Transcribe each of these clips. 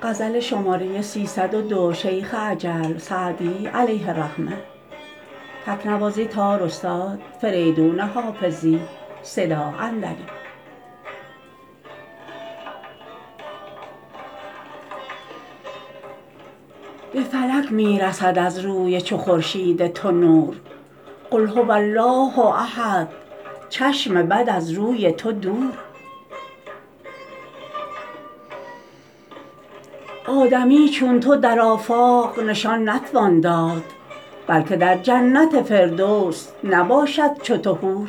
به فلک می رسد از روی چو خورشید تو نور قل هو الله احد چشم بد از روی تو دور آدمی چون تو در آفاق نشان نتوان داد بلکه در جنت فردوس نباشد چو تو حور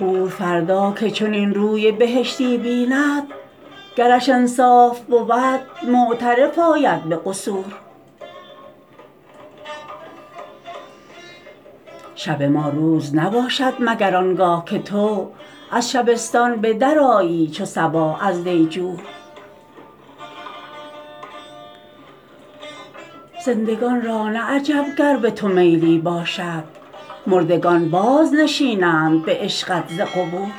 حور فردا که چنین روی بهشتی بیند گرش انصاف بود معترف آید به قصور شب ما روز نباشد مگر آن گاه که تو از شبستان به درآیی چو صباح از دیجور زندگان را نه عجب گر به تو میلی باشد مردگان بازنشینند به عشقت ز قبور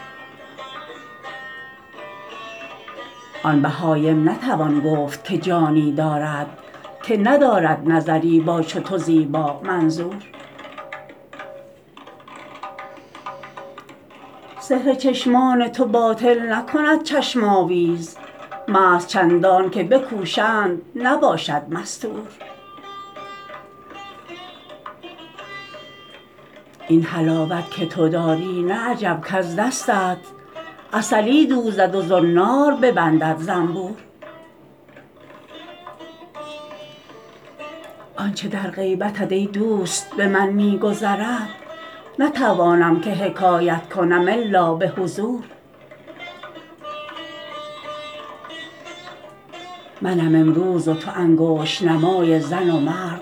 آن بهایم نتوان گفت که جانی دارد که ندارد نظری با چو تو زیبامنظور سحر چشمان تو باطل نکند چشم آویز مست چندان که بکوشند نباشد مستور این حلاوت که تو داری نه عجب کز دستت عسلی دوزد و زنار ببندد زنبور آن چه در غیبتت ای دوست به من می گذرد نتوانم که حکایت کنم الا به حضور منم امروز و تو انگشت نمای زن و مرد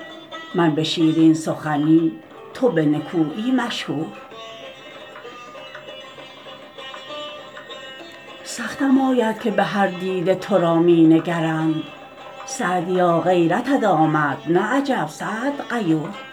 من به شیرین سخنی تو به نکویی مشهور سختم آید که به هر دیده تو را می نگرند سعدیا غیرتت آمد نه عجب سعد غیور